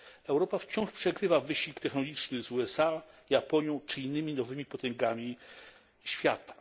Europa wciąż przegrywa wyścig technologiczny z USA, Japonią czy innymi nowymi potęgami świata.